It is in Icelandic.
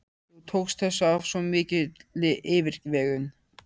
Þú tókst þessu af svo mikilli yfirvegun.